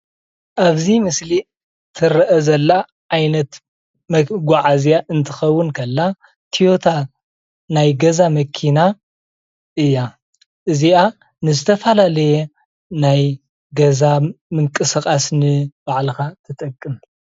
ኣብዚ ምስሊ ትርአ ዘላ ዓይነት መጓዓዝያ እንትከውን ከላ ቶዮታ ናይ ገዛ መኪና እያ ።እዚኣ ንዝተፈላለየ ናይ ገዛ ንምቅስቃስ ንባዕልካ ትጠቅም፡፡